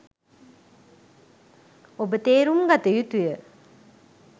ඔබ තේරුම් ගත යුතු ය.